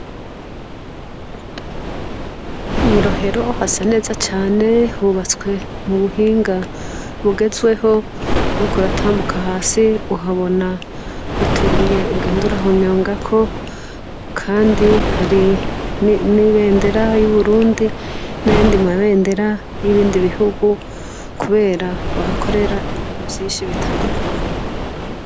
Mw'i Rohero hasa neza cane hubatswe m'ubuhinga bugezeweho, uriko uratambuka hasi uhabona utubuye ugenda urahonyangako, kandi hari n'ibendera y'Uburundi n'ayandi mabendera y'ibindi bihugu, kubera vyinshi bitandukanye.